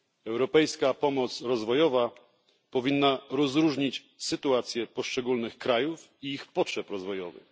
Europejska pomoc rozwojowa powinna rozróżnić sytuacje poszczególnych krajów i ich potrzeby rozwojowe.